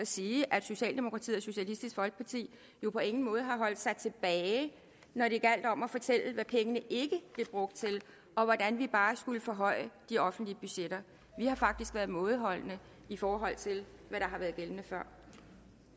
sige at socialdemokratiet og socialistisk folkeparti på ingen måde har holdt sig tilbage når det gjaldt om at fortælle hvad pengene ikke blev brugt til og hvordan vi bare skulle forhøje de offentlige budgetter vi har faktisk været mådeholdende i forhold til hvad